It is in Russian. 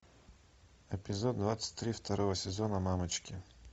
эпизод двадцать три второго сезона мамочки